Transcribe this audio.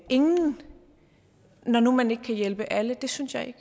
ingen når nu man ikke kan hjælpe alle det synes jeg